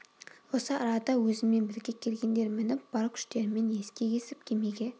осы арада өзіммен бірге келгендер мініп бар күштерімен ескек есіп кемеге